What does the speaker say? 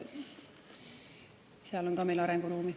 Ka seal on meil arenguruumi.